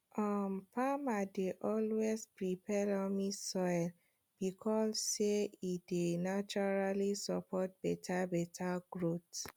um farmers dey always prefer loamy soil because say e dey naturally support beta beta growth